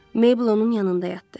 Meybl onun yanında yatdı.